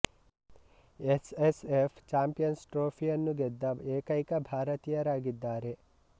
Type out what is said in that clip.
S S F champions ಟ್ರೋಫಿಯನ್ನು ಗೆದ್ದ ಏಕೈಕ ಭಾರತೀಯರಾಗಿದ್ದಾರೆ